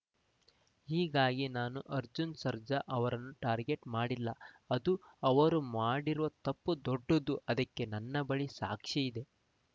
ಹೀಗಾಗಿ ನಾನು ಅರ್ಜುನ್‌ ಸರ್ಜಾ ಅವರನ್ನು ಟಾರ್ಗೆಟ್‌ ಮಾಡಿಲ್ಲ ಅದು ಅವರು ಮಾಡಿರುವ ತಪ್ಪು ದೊಡ್ಡದು ಅದಕ್ಕೆ ನನ್ನ ಬಳಿ ಸಾಕ್ಷಿ ಇದೆ